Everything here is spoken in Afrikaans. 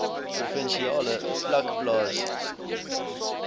provinsiale vlak plaas